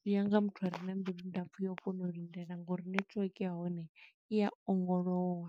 zwi nyaga muthu are na mbilu nda pfu yo u kona u lindela ngo uri network ya hone, i ya ongolowa.